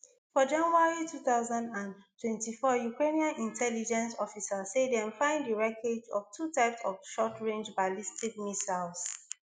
for january two thousand and twenty-four ukrainian intelligence officers say dem find di wreckage of two types of shortrange ballistic missiles